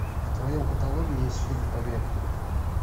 в твоем каталоге есть фильм побег